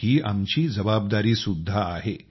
ही आमची जबाबदारीसुद्धा आहे